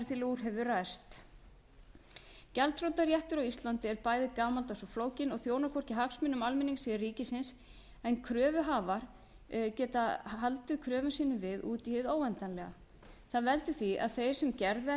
úr hefur ræst gjaldþrotaréttur á íslandi er bæði gamaldags og flókinn og þjónar hvorki hagsmunum almennings né ríkisins en kröfuhafar geta haldið kröfum sínum við út í hið óendanlega það veldur því að þeir sem